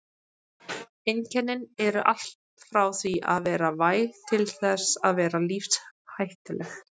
Einkennin eru allt frá því að vera væg til þess að vera lífshættuleg.